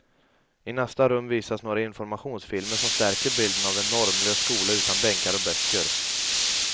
I nästa rum visas några informationsfilmer som stärker bilden av en normlös skola utan bänkar och böcker.